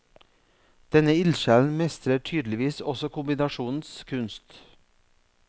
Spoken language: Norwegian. Denne ildsjelen mestrer tydeligvis også kombinasjonens kunst.